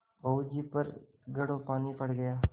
बहू जी पर घड़ों पानी पड़ गया